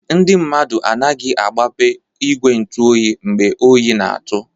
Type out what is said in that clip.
Ndị mmadụ anaghị-agbape igwe ntu oyi mgbe oyi n'atụ.